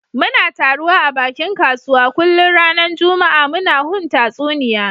Muna taruwa a bakin kasuwa kullun ranan juma'a muna hun tatsuniya